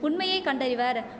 உண்மையை கண்டய்வர்